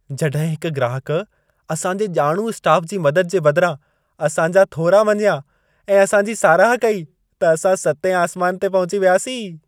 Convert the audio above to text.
जॾहिं हिक ग्राहक असां जे ॼाणू स्टाफ जी मदद जे बदिरां असां जा थोरा मञियां ऐं असां जी साराह कई, त असां सतें आसमान ते पहुची वियासीं।